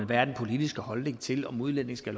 hvad den politiske holdning er til om udlændinge skal